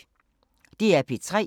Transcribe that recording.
DR P3